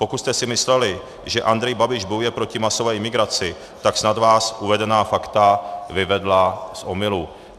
Pokud jste si mysleli, že Andrej Babiš bojuje proti masové imigraci, tak snad vás uvedená fakta vyvedla z omylu.